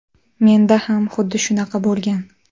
Menda ham xuddi shunaqa bo‘lgan.